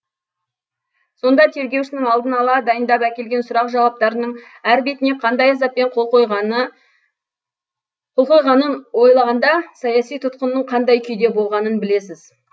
сонда тергеушінің алдын ала дайындап әкелген сұрақ жауаптарының әр бетіне қандай азаппен қол қойғанын ойлағанда саяси тұтқынның қандай күйде болғанын білесіз